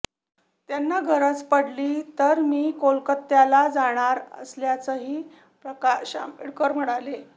त्यांना गरज पडली तर मी कोलकात्याला जाणार असल्याचंही प्रकाश आंबेडकर म्हणाले